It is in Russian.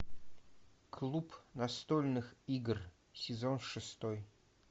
клуб настольных игр сезон шестой